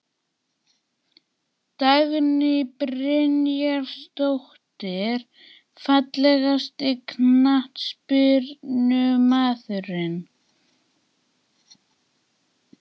Dagný Brynjarsdóttir Fallegasti knattspyrnumaðurinn?